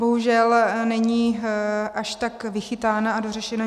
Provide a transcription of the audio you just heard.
Bohužel není až tak vychytaná a dořešená.